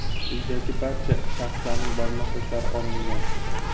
Uydagi barcha shaxslarning barmoq izlari olingan.